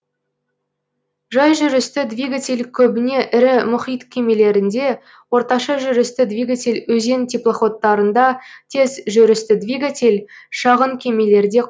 жай жүрісті двигатель көбіне ірі мұхит кемелерінде орташа жүрісті двигатель өзен теплоходтарында тез жүрісті двигатель шағын кемелерде